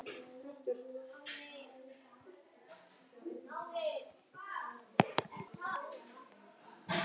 Við vissum ekki neitt.